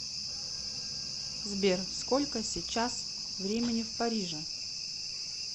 сбер сколько сечас времени в париже